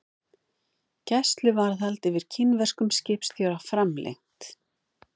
Gæsluvarðhald yfir kínverskum skipstjóra framlengt